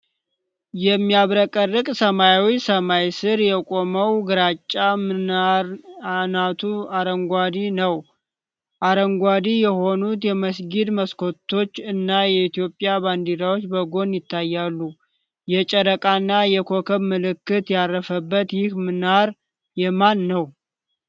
የሚያብረቀርቅ ሰማያዊ ሰማይ ሥር የቆመው ግራጫ ምናር አናቱ አረንጓዴ ነው። አረንጓዴ የሆኑት የመስጊዱ መስኮቶች እና የኢትዮጵያ ባንዲራዎች በጎን ይታያሉ። የጨረቃና የኮከብ ምልክት ያረፈበት ይህ ምናር የማን ነው?